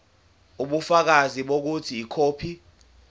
ubufakazi bokuthi ikhophi